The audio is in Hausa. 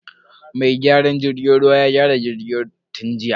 Mai gyaran jirgin ruwan ya gyara jirgin tun jiya.